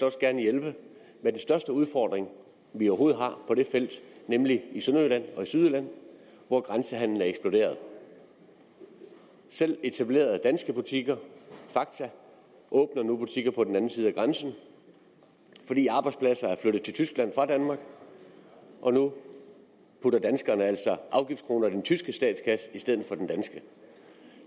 også gerne hjælpe med den største udfordring vi overhovedet har på det felt nemlig i sønderjylland og i sydjylland hvor grænsehandelen er eksploderet selv etablerede danske butikker fakta åbner nu butikker på den anden side af grænsen fordi arbejdspladser er flyttet til tyskland fra danmark og nu putter danskerne altså afgiftskronerne i den tyske statskasse i stedet for i den danske